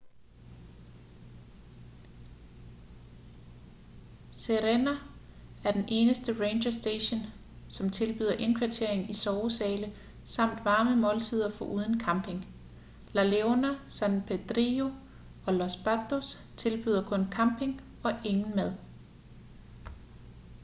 sirena er den eneste ranger station som tilbyder indkvartering i sovesale samt varme måltider foruden camping la leona san pedrillo og los patos tilbyder kun camping og ingen mad